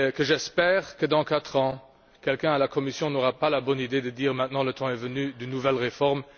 J'espère que, dans quatre ans, quelqu'un à la Commission n'aura pas la bonne idée de dire Maintenant le temps est venu d'une nouvelle réforme.